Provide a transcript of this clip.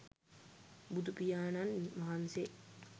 බුදුපියාණන් වහන්සේ